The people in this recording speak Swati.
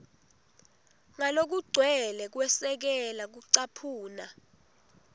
ngalokugcwele kwesekela kucaphuna